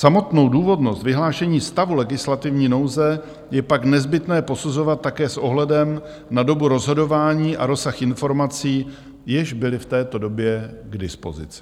Samotnou důvodnost vyhlášení stavu legislativní nouze je pak nezbytné posuzovat také s ohledem na dobu rozhodování a rozsah informací, jež byly v této době k dispozici.